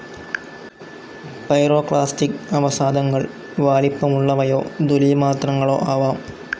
Pyroclastic അവസാധങ്ങൾ വാലിപ്പമുള്ളവയോ ദുലീമാത്രങ്ങളോ ആവാം.